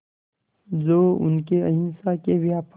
जो उनके अहिंसा के व्यापक